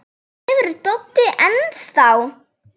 Sefur Doddi enn þá?